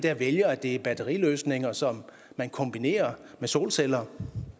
vælger at det er batteriløsninger som man kombinerer med solceller